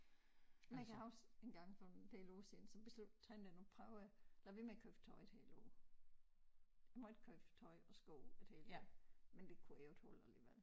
Men kan huske engang for en del år siden så beslut tænkte jeg nu prøver jeg lader være med at købe tøj i et helt år jeg måtte ikke købe tøj og sko i et helt år men det kunne jeg jo ikke holde alligevel